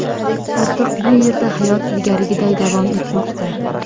Ortiq bu yerda hayot ilgarigiday davom etmoqda.